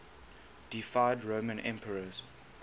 deified roman emperors